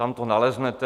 Tam to naleznete.